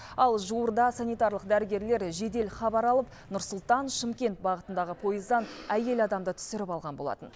ал жуырда санитарлық дәрігерлер жедел хабар алып нұр сұлтан шымкент бағытындағы пойыздан әйел адамды түсіріп алған болатын